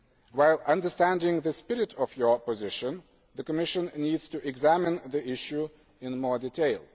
While understanding the spirit of your position, the Commission needs to examine the issue in more detail.